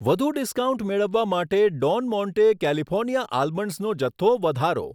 વધુ ડિસ્કાઉન્ટ મેળવવા માટે ડોન મોન્ટે કેલીફોર્નીયા આલમન્ડસનો જથ્થો વધારો.